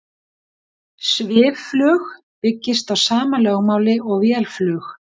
Svifflug byggist á sama lögmáli og vélflug.